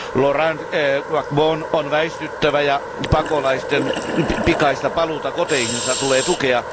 Laurent Gbagbon on väistyttävä ja pakolaisten pikaista paluuta koteihinsa tulee tukea.